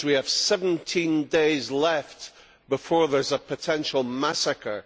That means we have 17 days left before there is a potential massacre.